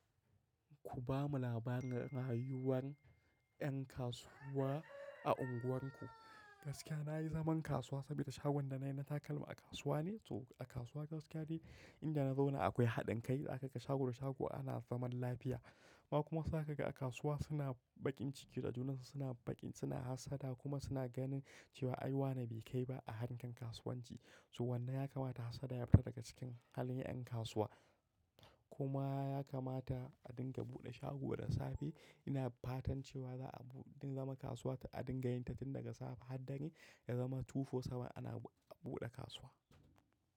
Ku ba mu labarin rayuwar 'yan kasuwa a unguwarku. Gaskiya na yi zaman kasuwa saboda shagon da na yi na takalma a kasuwa ne. So a kasuwa gaskiya ce, in ji na zauna akwai haɗin kai. Za ka ga shago da shago ana zaman lafiya. Ba kuma za ka ga a kasuwa suna baƙin ciki, da junan suna baƙin, suna hassada kuma suna ganin cewa ai wane bai kai ba a harkan kasuwanci. So wannan ya kamata hassada ya fita daga cikin halin 'yan kasuwa. Kuma ya kamata a dinga buɗe shago da safe. Ina fatan cewa za a dinga zama kasuwa, a dinga yin ta jin daga safe har dangi ya zama tufo saboda ana buɗe kasuwa.